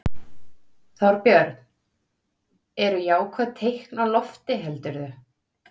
Þorbjörn: Eru jákvæð teikn á lofti heldurðu?